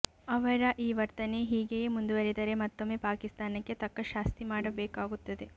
ಅವರ ಈ ವರ್ತನೆ ಹೀಗೆಯೇ ಮುಂದುವರೆದರೆ ಮತ್ತೊಮ್ಮೆ ಪಾಕಿಸ್ತಾನಕ್ಕೆ ತಕ್ಕ ಶಾಸ್ತಿ ಮಾಡಬೇಕಾಗುತ್ತದೆ